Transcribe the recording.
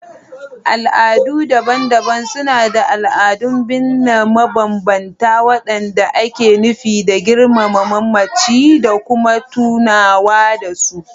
Al'adu daban-daban suna da al'adun binne mabambanta waɗanda ake nufi don girmama mamaci da kuma tunawa da su.